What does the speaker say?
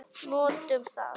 Notum það.